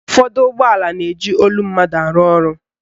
Ụfọdụ ụgbọala na-eji olu mmadụ arụ ọrụ.